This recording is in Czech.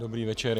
Dobrý večer.